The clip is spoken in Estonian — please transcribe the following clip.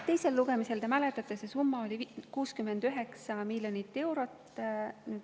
Teisel lugemisel, te mäletate, oli see summa 69 miljonit eurot.